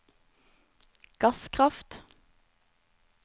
gasskraft